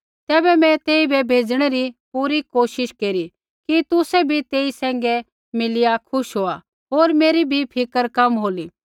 तैबै मैं तेइबै भेजणै री पूरी कोशिश केरी कि तुसै भी तेई सैंघै मिलिया खुश होआ होर मेरी भी फिक्र कम होली